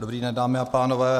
Dobrý den, dámy a pánové.